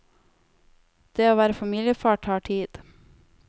Det å være familiefar tar tid.